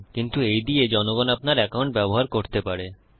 কিন্তু এইদিয়ে জনগণ আপনার একাউন্ট ব্যবহার করতে পারে